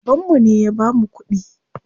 Babanmu ne ya bamu kuɗi.